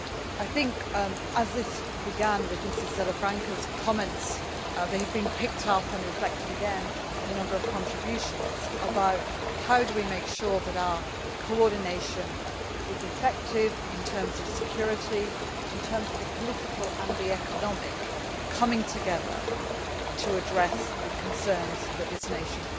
I think that Mrs Salafranca's comments at the beginning have been picked up and reflected again in a number of contributions about how we can make sure that our coordination is effective in terms of security, in terms of the political and economic coming together to address the concerns that this nation